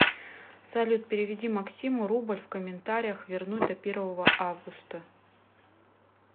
салют переведи максиму рубль в комментариях вернуть до первого августа